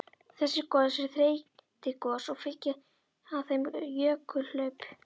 Þessi gos eru þeytigos og fylgja þeim jökulhlaup.